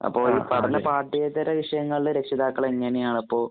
അപ്പൊ ഈ പഠന പാഠേൃതര വിഷയങ്ങളില്‍ രക്ഷിതാക്കള്‍ എങ്ങനെയാണിപ്പോ